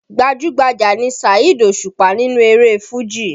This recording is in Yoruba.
Gbajú-gbajà ni Saheed Òṣùpá nínú eré Fuji